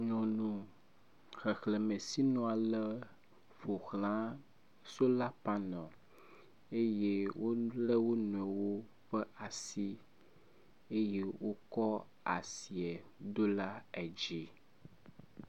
nyɔnu xexlemesinu ale ƒoxlã sola panel eye wóle wonoewi ƒe asi eye wókɔ asie dó la edzi